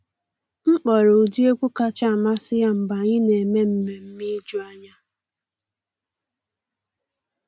M kpọrọ ụdị egwu kacha amasị ya mgbe anyị na eme mmemme ijuanya.